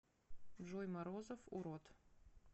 джой морозов урод